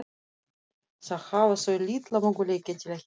Þá hafa þau litla möguleika til að hittast.